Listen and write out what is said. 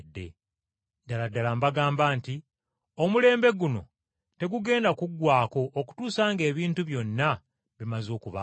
Ddala ddala mbagamba nti omulembe guno tegugenda kuggwaako okutuusa ng’ebintu byonna bimaze okubaawo.